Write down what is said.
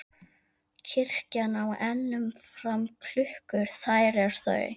Kirkja á enn um fram klukkur þær er þau